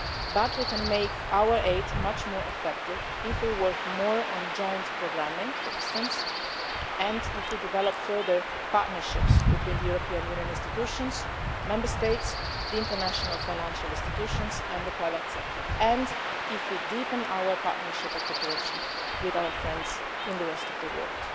But we can make our aid much more effective if we work more on joint programming, for instance, and if we develop further partnerships between the European Union institutions, Member States, the international financial institutions and the private sector, and if we deepen our partnership and cooperation with our friends in the rest of the world.